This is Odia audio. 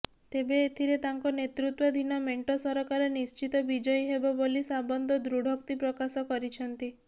ତେବେ ଏଥିରେ ତାଙ୍କ ନେତୃତ୍ବାଧୀନ ମେଣ୍ଟ ସରକାର ନିଶ୍ଚିତ ବିଜୟୀ ହେବ ବୋଲି ସାବନ୍ତ ଦୃଢ଼ୋକ୍ତି ପ୍ରକାଶ କରିଛନ୍ତି